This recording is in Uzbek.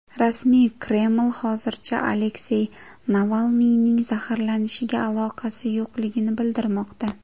Rasmiy Kreml hozircha Aleksey Navalniyning zaharlanishiga aloqasi yo‘qligini bildirmoqda.